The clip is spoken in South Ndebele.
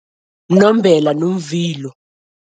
Mnombela nomvilo.